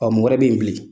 Ɔ mɔgɔ wɛrɛ bɛ yen bilen